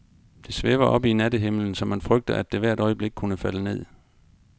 Det svæver oppe i nattehimlen, så man frygter, at det hvert øjeblik kunne falde ned.